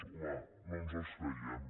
home no ens els creiem